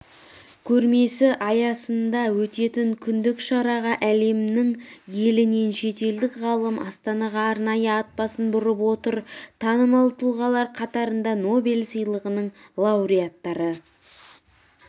көрмесі аясында өтетін күндік шараға әлемнің елінен шетелдік ғалым астанаға арнайы ат басын бұрып отыр танымал тұлғалар қатарында нобель сыйлығының лауреттары